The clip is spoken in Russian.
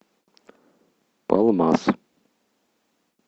палмас